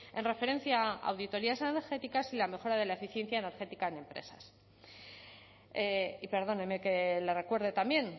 en referencia a auditorías energéticas y la mejora de la eficiencia energética en empresas y perdóneme que le recuerde también